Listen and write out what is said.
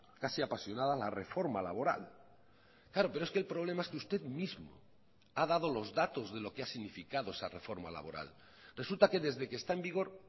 casi apasionada la reforma laboral claro pero es que el problema es que usted mismo ha dado los datos de lo que ha significado esa reforma laboral resulta que desde que está en vigor